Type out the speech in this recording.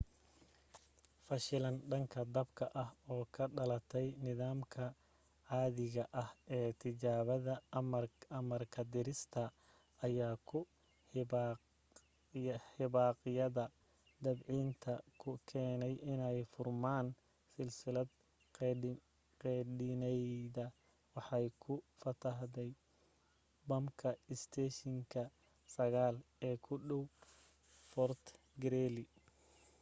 fashilan dhanka dabka ah oo ka dhalatay nidaamka caadiga ah ee tijaabada amarka-ridista ayaa ku hibaaqyada debcinta ku keenay inay furmaan saliidii qeedhinaydna waxay ku fatahday bamka isteeshinka 9 ee u dhow fort greely